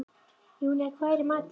Júnía, hvað er í matinn?